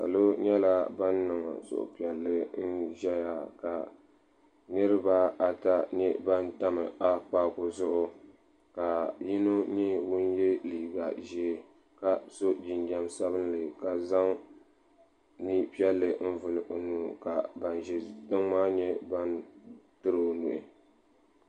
salɔ nyɛla ban niŋ suhu piɛli ka kuli ʒɛya kaniribiata tam akpaaku zuɣu. ka yinɔ nyɛ liigaʒɛɛ. ka sɔ jinjam sabinli kazaŋ mipiɛli n vuli n ɔnuu ka tiri ɔnuu.